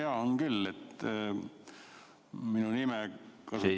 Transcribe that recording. Jaa, on küll, kuna minu nime nimetati.